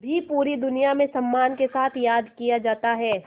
भी पूरी दुनिया में सम्मान के साथ याद किया जाता है